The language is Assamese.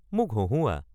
মোক হঁহুওৱা